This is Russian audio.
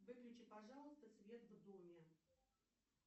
выключи пожалуйста свет в доме